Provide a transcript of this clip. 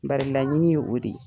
Bari laɲini ye o de ye.